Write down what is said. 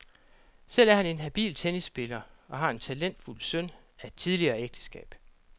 Selv er han en habil tennisspiller og har en talentfuld søn af et tidligere ægteskab.